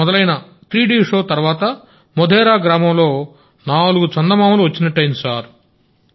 ఇక్కడ మొదలైన 3డిషో తర్వాత మోధేరా గ్రామంలో నాలుగు చందమామలు వచ్చినట్టయింది సార్